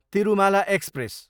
Tirumala express